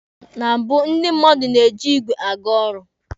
Na mbụ, ndị mmadụ na-eji igwe aga ọrụ.